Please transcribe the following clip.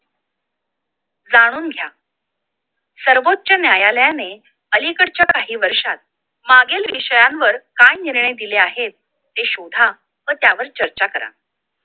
जाणून घ्या सर्वोच्च न्यायालयाने अलीकडच्या काही वर्षात मागील विषयांवर काय निर्णय दिले आहेत हे शोधा व त्यावर चर्चा करा